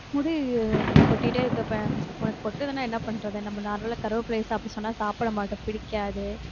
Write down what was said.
முடி கொட்டிட்டே இருக்கப்ப உனக்கு கொட்டுதுன்னா என்ன பண்றது நம்ம normal ஆ கருவேப்பிலையை சாப்பிடச்சொன்னா சாப்பிட மாட்டோம் பிடிக்காது